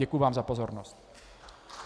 Děkuji vám za pozornost.